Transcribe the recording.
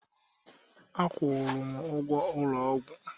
Akwụụrụ m ụgwọ ụlọ ọgwụ